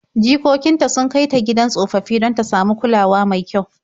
Jikokin ta sun kai ta gidan tsofaffi don ta samu kulawa mai kyau.